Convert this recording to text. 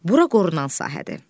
Bura qorunan sahədir.